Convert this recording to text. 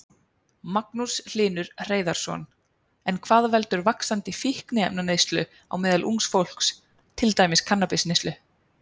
Magnús Hlynur Hreiðarsson: En hvað veldur vaxandi fíkniefnaneyslu á meðal ungs fólks, til dæmis kannabisneyslu?